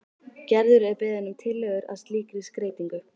Gerður er beðin um tillögur að slíkri skreytingu.